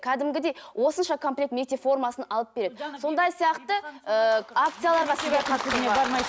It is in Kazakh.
кәдімгідей осынша комплект мектеп формасын алып береді сондай сияқты ыыы акцияларға